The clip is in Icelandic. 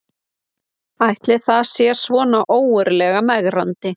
Ætli það sé svona ógurlega megrandi